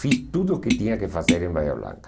Fiz tudo o que tinha que fazer em Bahia Blanca.